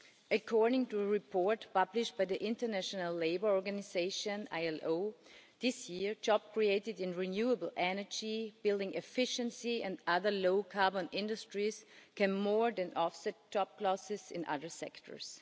According to a report published by the International Labour Organisation this year, jobs created in renewable energy, building efficiency and other low-carbon industries can more than offset job losses in other sectors.